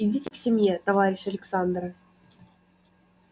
идите к семье товарищ александра